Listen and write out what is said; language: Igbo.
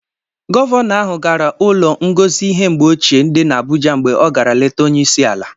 Gọvanọ ahụ gara ụlọ ngosi ihe mgbe ochie dị n'Abụja mgbe ọ gara leta Onyeisi ala.